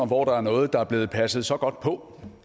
hvor der er noget der er blevet passet så godt på